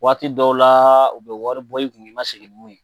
Waati dɔw la u bɛ wari bɔ i kun i ma sigi ni mun ye